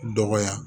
Dɔgɔya